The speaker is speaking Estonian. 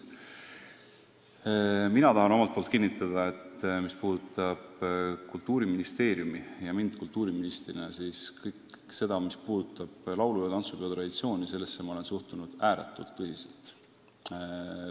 Mina tahan omalt poolt kinnitada, et Kultuuriministeerium ja mina kultuuriministrina olen kõigesse sellesse, mis puudutab laulu- ja tantsupeo traditsiooni, suhtunud ääretult tõsiselt.